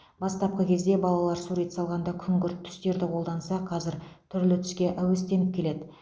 бастапқы кезде балалар сурет салғанда күңгірт түстерді қолданса қазір түрлі түске әуестеніп келеді